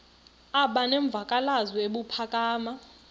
aba nemvakalozwi ebuphakama